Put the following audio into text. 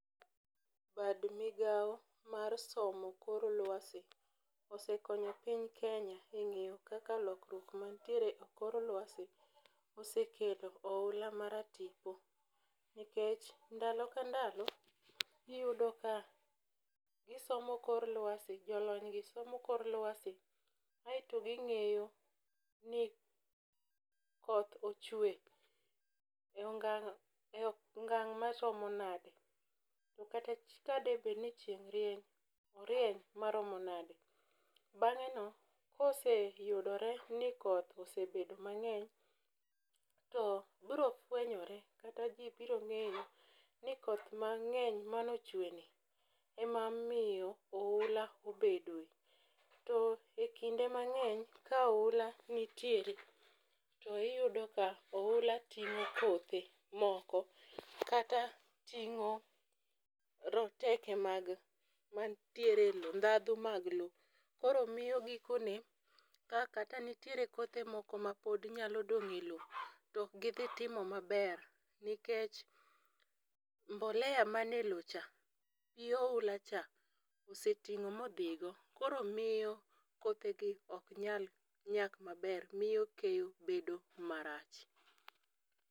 Bad migawo mar somo kor lwasi osekonyo piny Kenya eng'iyo kaka lokruok mantiere e kor lwasi osekelo oula ma ratipo. Nikech ndalo ka ndalo iyudo ka gisomo kor lwasi jolony gi somo kor lwasi aeto ging'eyo ni koth ochwe e ongang' maromo nade? To kata ka de bed ni chieng' rieny, orieny maromo nade? Bang'e no koseyudore ni koth osebedo mang'eny, to biro fwechore kata ji biro ng'eyo ni koth mang'eny manochwe ni emomiyo oula obedoe. To e kinde mang'eny ka oula nitiere to iyudo ka oula ting'o kothe moko kata ting'o roteke mag mantiere low dhadho mag low. Koro miyo gikone ka katanitiere kothe moko ma pod nyalo dong' e low to ok dhi timo maber nikech mbolea mane low cha gi oula cha oseting'o modhi go koro miyo kothe gi ok nyal nyak maber. Miyo keyo bedo marach.